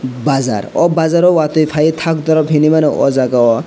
bazar aw bazzar o watui faie tang dorop henemano aw jaaga o.